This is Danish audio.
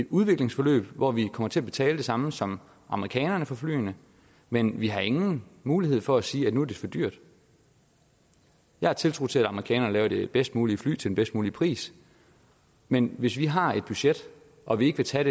udviklingsforløb hvor vi kommer til at betale det samme som amerikanerne for flyene men vi har ingen mulighed for at sige at nu er det for dyrt jeg har tiltro til at amerikanerne laver det bedst mulige fly til den bedst mulige pris men hvis vi har et budget og vi ikke vil tage